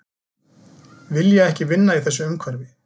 Vilja ekki vinna í þessu umhverfi